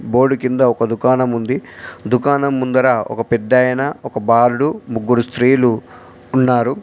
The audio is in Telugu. బోర్డు కింద ఒక దుకాణం ఉంది దుకాణం ముందర ఒక పెద్దాయన ఒక బాలుడు ముగ్గురు స్త్రీలు ఉన్నారు.